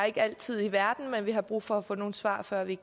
ikke har al tid i verden men vi har brug for at få nogle svar før vi